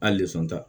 A lezon ta